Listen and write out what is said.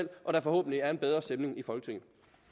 og der forhåbentlig er en bedre stemning i folketinget